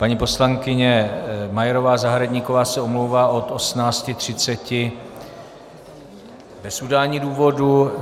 Paní poslankyně Majerová Zahradníková se omlouvá od 18.30 bez udání důvodu.